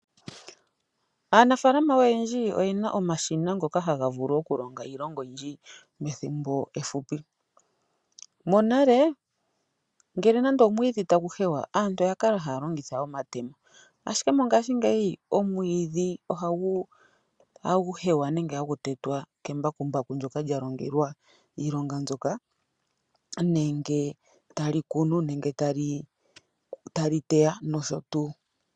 Aanafaalama oyendji oyena omashina ngoka haga vulu okulonga iilonga oyindji methimbo efupi. Monale ngele nande omwiidhi tagu hewa aantu oya kala haya longitha omatemo ashike mongashingeyi omwiidhi ohagu hewa nenge ohagu tetwa kembakumbaku ndyoka lya longelwa iilonga mbyoka nenge tali kunu nenge tali teya nosho tuu.